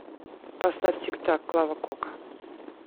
поставь тик так клава кока